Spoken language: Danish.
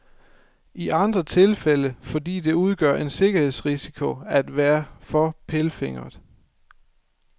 I andre tilfælde fordi det udgør en sikkerhedsrisiko at være for pilfingeret.